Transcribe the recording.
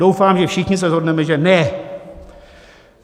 Doufám, že všichni se shodneme že ne.